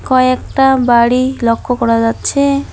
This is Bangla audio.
কয়েকটা বাড়ি লক্ষ্য করা যাচ্ছে।